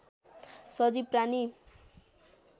सजीव प्राणी